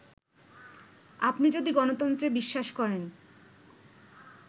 আপনি যদি গণতন্ত্রে বিশ্বাস করেন